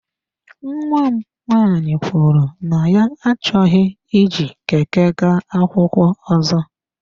Nnwa m nwanyị kwuru na ya achọghị iji Keke gaa akwụkwọ ọzọ.